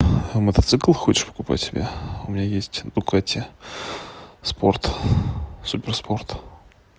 мотоцикл хочешь покупать себе у меня есть дукати спорт супер спорт